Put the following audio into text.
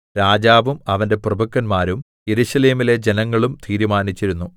രാജാവും അവന്റെ പ്രഭുക്കന്മാരും യെരൂശലേമിലെ ജനങ്ങളും തീരുമാനിച്ചിരുന്നു